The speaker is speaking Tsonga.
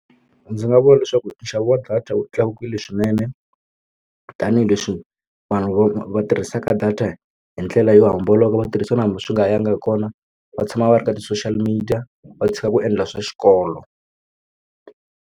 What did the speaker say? Ndzi nga vula leswaku nxavo wa data wu tlakukile swinene tanihileswi vanhu va tirhisaka data hi ndlela yo homboloka vatirhisa nakambe swi nga yangi hi kona va tshama va ri ka ti-social media va tshika ku endla swa xikolo.